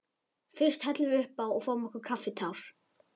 Fyrst hellum við uppá og fáum okkur kaffitár.